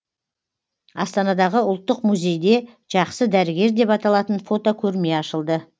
астанадағы ұлттық музейде жақсы дәрігер деп аталатын фотокөрме ашылды